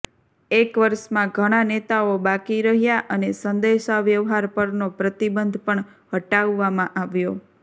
એક વર્ષમાં ઘણા નેતાઓ બાકી રહ્યા અને સંદેશાવ્યવહાર પરનો પ્રતિબંધ પણ હટાવવામાં આવ્યો